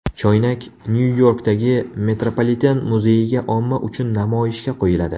Choynak Nyu-Yorkdagi Metropoliten muzeyiga omma uchun namoyishga qo‘yiladi.